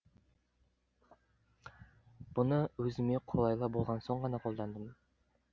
бұны өзіме қолайлы болған соң ғана қолдандым